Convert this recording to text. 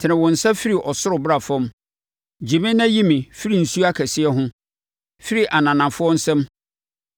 Tene wo nsa firi soro bra fam; gye me na yi me firi nsuo akɛseɛ ho, firi ananafoɔ nsam,